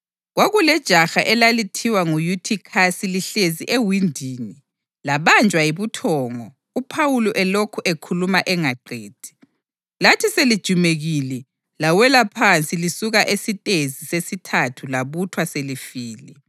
Kwakulejaha elalithiwa nguYuthikhasi lihlezi ewindini, labanjwa yibuthongo uPhawuli elokhu ekhuluma engaqedi. Lathi selijumekile, lawela phansi lisuka esitezi sesithathu labuthwa selifile.